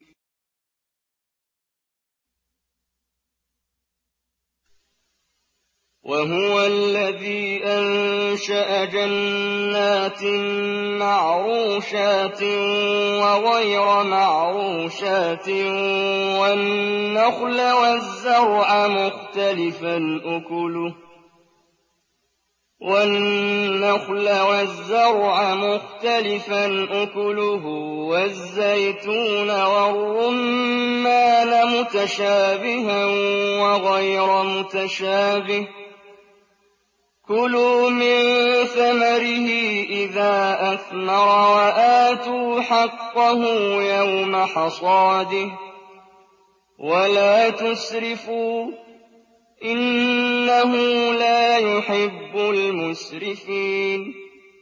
۞ وَهُوَ الَّذِي أَنشَأَ جَنَّاتٍ مَّعْرُوشَاتٍ وَغَيْرَ مَعْرُوشَاتٍ وَالنَّخْلَ وَالزَّرْعَ مُخْتَلِفًا أُكُلُهُ وَالزَّيْتُونَ وَالرُّمَّانَ مُتَشَابِهًا وَغَيْرَ مُتَشَابِهٍ ۚ كُلُوا مِن ثَمَرِهِ إِذَا أَثْمَرَ وَآتُوا حَقَّهُ يَوْمَ حَصَادِهِ ۖ وَلَا تُسْرِفُوا ۚ إِنَّهُ لَا يُحِبُّ الْمُسْرِفِينَ